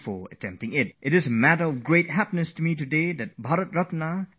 It gives me great joy to share with you a message from Bharat Ratna C N R Rao, our most esteemed scientist